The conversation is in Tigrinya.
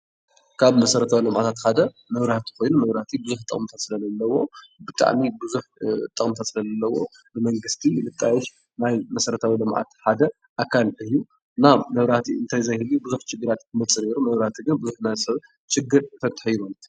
ካብ መሰረታዊ ልምዓታት ሓደ መብራህቲ ኮይኑ መብራህቲ ብዙሕ ጥቕሚ ስለለዎ ብጣዕሚ ቡዙሕ ጥቕምታት ስለለዎ ብመንግስቲ ዝጣየሽ ናይ መሰረታዊ ልምዓት ሓደ ኣካል ኮይኑ እና መብራህቲ እንተዘይህልይ ብዙሕ ችግራት ክመፅእ ነይሩ መብራህቲ ግን ችግር ይፈትሕ እዩ ማለት እዩ፡፡